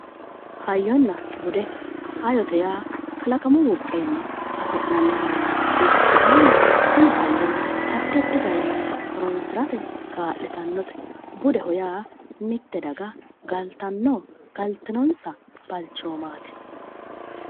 hayyonna bude hayyote yaa kalaqamu buqqeenni afi'nannita ikkitanna tini hayyono addi addi garinni horoonsirate kaa'litannote budeho yaa mitte daga galtano galtinonsa balchoomaati.